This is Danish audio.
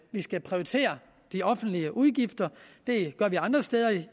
vi skal prioritere de offentlige udgifter det gør vi andre steder